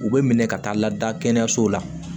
U bɛ minɛ ka taa lada kɛnɛyaso la